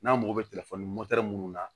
N'an mago bɛ minnu na